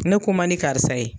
Ne ko man di karisa ye.